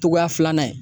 Togoya filanan ye